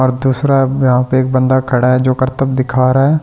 और दूसरा यहाँ पे एक बंदा खड़ा है जो करतब दिखा रहा है और --